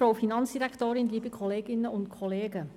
Kommissionssprecherin der FiKo-Minderheit.